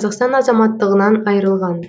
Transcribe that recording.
қазақстан азаматтығынан айырылған